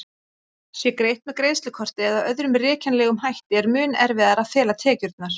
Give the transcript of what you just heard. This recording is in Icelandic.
Sé greitt með greiðslukorti eða öðrum rekjanlegum hætti er mun erfiðara að fela tekjurnar.